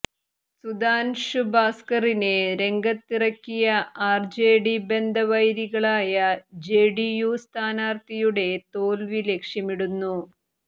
സുധാന്ഷു ഭാസ്കറിനെ രംഗത്തിറക്കിയ ആര്ജെഡി ബന്ധവൈരികളായ ജെഡിയു സ്ഥാനാര്ത്ഥിയുടെ തോല്വി ലക്ഷ്യമിടുന്നു